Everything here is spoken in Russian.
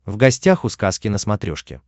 в гостях у сказки на смотрешке